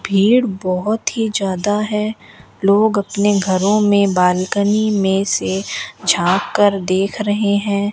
भीड़ बहोत ही ज्यादा है लोग अपने घरों में बालकनी में से झाक कर देख रहे हैं।